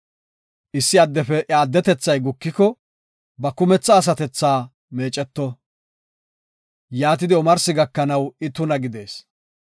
“Issi addefe iya atunthay gukiko, ba kumetha asatethaka meeceto; yaatidi omarsi gakanaw I tuna gidees.